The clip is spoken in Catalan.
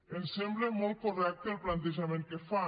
em sembla molt correcte el plantejament que fan